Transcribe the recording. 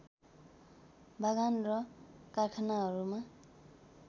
बागान र कारखानहरूमा